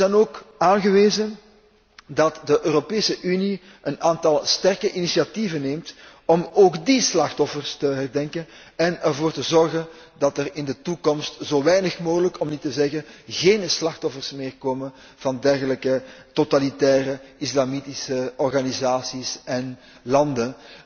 Het is dan ook aangewezen dat de Europese Unie een aantal sterke initiatieven neemt om ook die slachtoffers te herdenken en ervoor te zorgen dat er in de toekomst zo weinig mogelijk, om niet te zeggen geen slachtoffers meer komen van dergelijke totalitaire islamitische organisaties en landen.